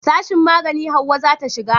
sashin magani Hauwa za ta shiga